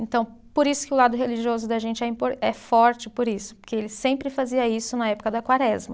Então, por isso que o lado religioso da gente é impor, forte, por isso, porque ele sempre fazia isso na época da Quaresma.